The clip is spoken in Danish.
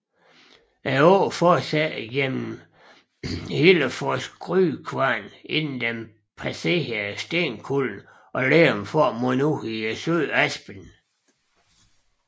Åen fortsætter gennem Hillefors Grynkvarn inden den passerer Stenkullen og Lerum for at munde ud i søen Aspen